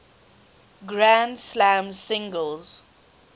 grand slam singles